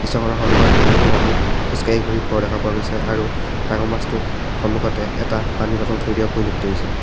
চহৰৰ সন্মুখত বহুবোৰ মানুহ খোজ কাঢ়ি ঘূৰি ফুৰা দেখা গৈছে আৰু ডাঙৰ মাছটোৰ সন্মুখত এটা পানীৰ বটল থৈ দিয়া পৰিলক্ষিত হৈছে।